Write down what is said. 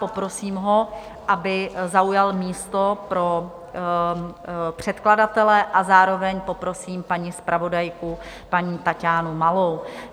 Poprosím ho, aby zaujal místo pro předkladatele, a zároveň poprosím paní zpravodajku, paní Taťánu Malou.